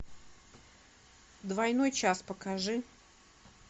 двойной час покажи